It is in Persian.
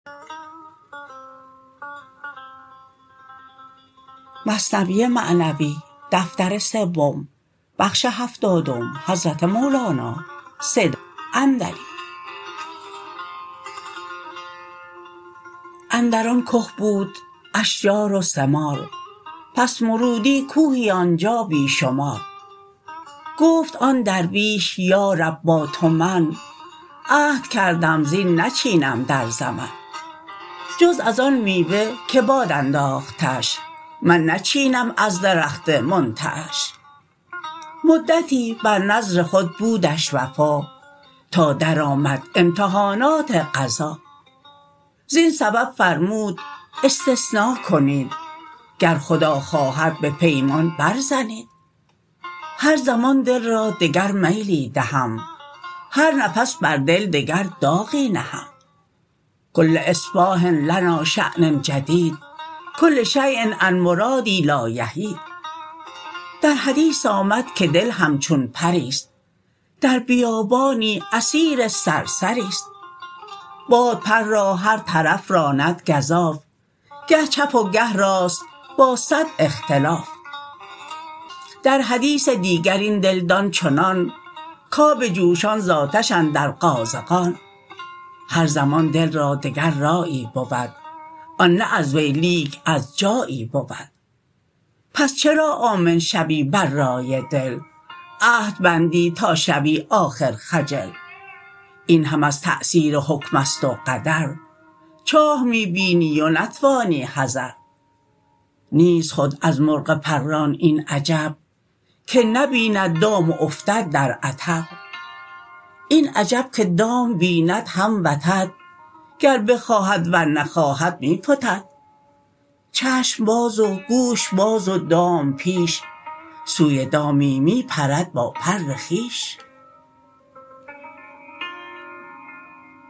اندر آن که بود اشجار و ثمار بس مرودی کوهی آنجا بی شمار گفت آن درویش یا رب با تو من عهد کردم زین نچینم در زمن جز از آن میوه که باد انداختش من نچینم از درخت منتعش مدتی بر نذر خود بودش وفا تا در آمد امتحانات قضا زین سبب فرمود استثنا کنید گر خدا خواهد به پیمان بر زنید هر زمان دل را دگر میلی دهم هرنفس بر دل دگر داغی نهم کل اصباح لنا شان جدید کل شیء عن مرادی لا یحید در حدیث آمد که دل همچون پریست در بیابانی اسیر صرصریست باد پر را هر طرف راند گزاف گه چپ و گه راست با صد اختلاف در حدیث دیگر این دل دان چنان کآب جوشان ز آتش اندر قازغان هر زمان دل را دگر رایی بود آن نه از وی لیک از جایی بود پس چرا آمن شوی بر رای دل عهد بندی تا شوی آخر خجل این هم از تاثیر حکمست و قدر چاه می بیینی و نتوانی حذر نیست خود از مرغ پران این عجب که نبیند دام و افتد در عطب این عجب که دام بیند هم وتد گر بخواهد ور نخواهد می فتد چشم باز و گوش باز و دام پیش سوی دامی می پرد با پر خویش